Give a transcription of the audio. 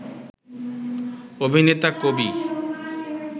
অভিনেতা, কবি